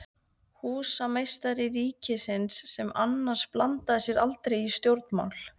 Húsameistari ríkisins, sem annars blandaði sér aldrei í stjórnmál.